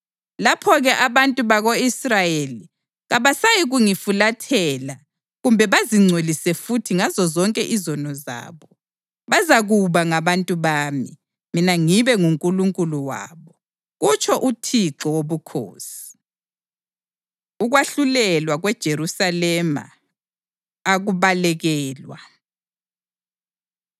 Lapho-ke abantu bako-Israyeli kabasayikungifulathela kumbe bazingcolise futhi ngazozonke izono zabo. Bazakuba ngabantu bami, mina ngibe nguNkulunkulu wabo, kutsho uThixo Wobukhosi.’ ” Ukwahlulelwa KweJerusalema Akubalekelwa